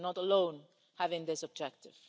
We are not alone in having this objective.